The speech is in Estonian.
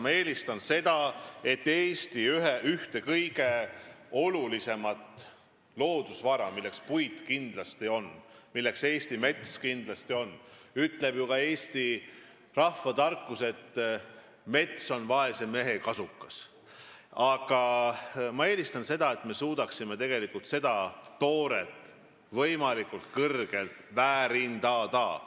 Nimelt seda, et me suudaksime Eesti ühte kõige olulisemat loodusvara, milleks puit ja üldse Eesti mets kindlasti on – ka eesti rahvatarkus ütleb ju, et mets on vaese mehe kasukas –, seda tooret võimalikult palju väärindada.